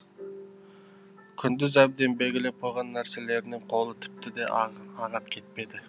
күндіз әбден белгілеп қойған нәрселерінен қолы тіпті де ағат кетпеді